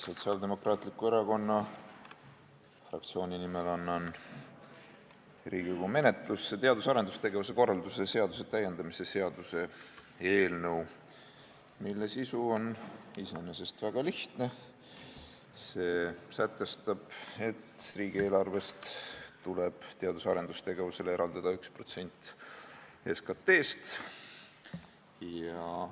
Sotsiaaldemokraatliku Erakonna fraktsiooni nimel annan Riigikogu menetlusse teadus- ja arendustegevuse korralduse seaduse täiendamise seaduse eelnõu, mille sisu on iseenesest väga lihtne: see sätestab, et riigieelarvest tuleb teadus- ja arendustegevusele eraldada 1% SKT-st.